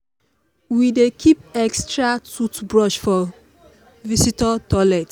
we dey keep extra toothbrush for visitor toilet.